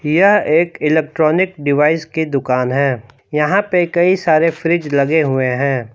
यह एक electronic device की दुकान है। यहां पे कई सारे फ्रिज लगे हुए हैं।